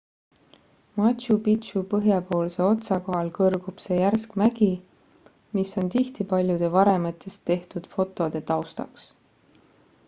machu picchu põhjapoolse otsa kohal kõrgub see järsk mägi mis on tihti paljude varemetest tehtud fotode taustaks